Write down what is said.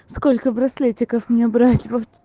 сколько браслетиков у нее брать вот